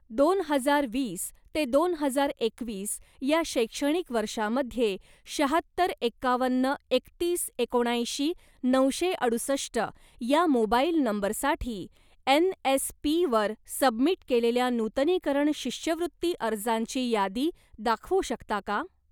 दोन हजार वीस ते दोन हजार एकवीस या शैक्षणिक वर्षामध्ये शाहत्तर एकावन्न एकतीस एकोणऐंशी नऊशे अडुसष्ट ह्या मोबाइल नंबरसाठी एन.एस.पी वर सबमिट केलेल्या नूतनीकरण शिष्यवृत्ती अर्जांची यादी दाखवू शकता का?